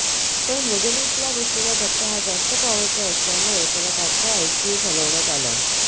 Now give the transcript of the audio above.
पण मृगनेशला बसलेला धक्का हा जास्त पॉवरचा असल्यामुळं त्याला तत्काळ आयसीयुत हलवण्यात आलं